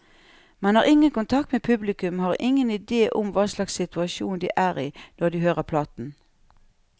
Man har ingen kontakt med publikum, og har ingen idé om hva slags situasjon de er i når de hører platen.